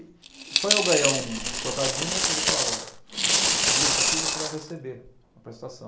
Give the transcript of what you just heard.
E e para eu ganhar um um trocadinho, ele falava, olha, esse esse grupo aqui você vai receber a prestação.